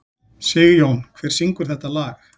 Sigjón, hver syngur þetta lag?